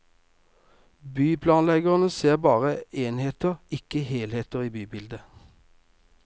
Byplanleggerne ser bare enheter, ikke helheten i bybildet.